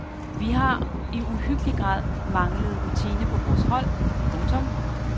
Vi har i uhyggelig grad manglet rutine på vores hold. punktum